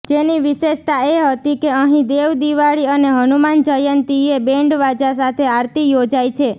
જેની વિશેષતા એ હતી કે અહીં દેવદિવાળી અને હનુમાન જયંતીએ બેન્ડવાજા સાથે આરતી યોજાય છે